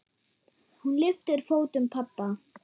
Hún lyftir fótum pabba.